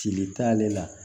Cili t'ale la